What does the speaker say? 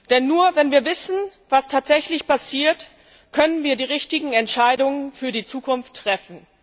Denn nur wenn wir wissen, was tatsächlich passiert, können wir die richtigen Entscheidungen für die Zukunft treffen.